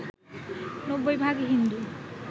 ৯০ ভাগ হিন্দু